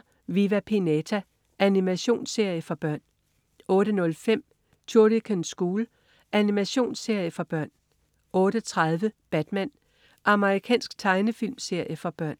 07.40 Viva Pinata. Animationsserie for børn 08.05 Shuriken School. Animationsserie for børn 08.30 Batman. Amerikansk tegnefilmserie for børn